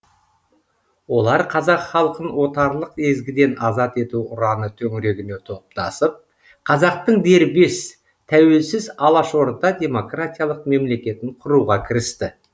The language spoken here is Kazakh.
олар қазақ халқын отарлық езгіден азат ету ұраны төңірегіне топтасып қазақтың дербес тәуелсіз алашорда демократиялық мемлекетін құруға кірісті